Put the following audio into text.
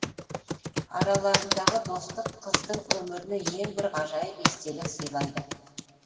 араларындағы достық қыздың өміріне ең бір ғажайып естелік сыйлайды